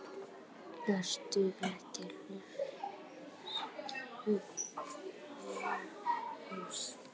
ERTU EKKI LAUS?